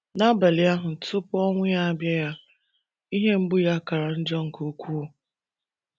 N’abalị ahụ tupu ọnwụ abịaya, ihe mgbu ya kara njọ nke ukwuu.